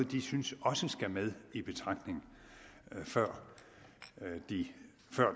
de synes også skal med i betragtning før